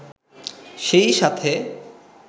সেই সাথে